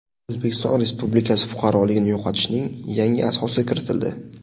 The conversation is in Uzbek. O‘zbekiston Respublikasi fuqaroligini yo‘qotishning yangi asosi kiritildi.